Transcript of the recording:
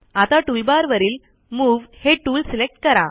आता टूलबारवरील मूव हे टूल सिलेक्ट करा